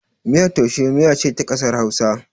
Miyar taushe miya ce ta ƙasar Hausa.